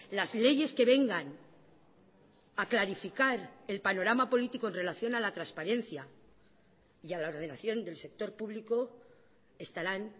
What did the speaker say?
las leyes que vengan a clarificar el panorama político en relación a la transparencia y a la ordenación del sector público estarán